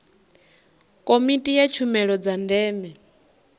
komiti ya tshumelo dza ndeme